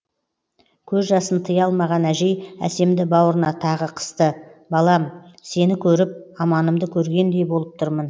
көз жасын тыйа алмаған әжей әсемді бауырына тағы қысты балам сені көріп аманымды көргендей болып тұрмын